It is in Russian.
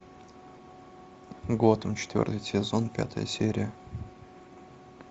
готэм четвертый сезон пятая серия